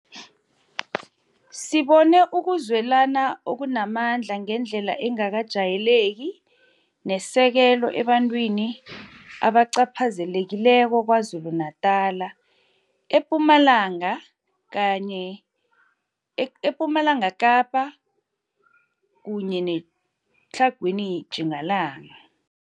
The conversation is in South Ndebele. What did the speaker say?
Sibone ukuzwelana okunamandla ngendlela engakajayeleki nesekelo ebantwini abacaphazelekileko KwaZulu-Natala, ePumalanga Kapa kunye neTlhagwini Tjingalanga.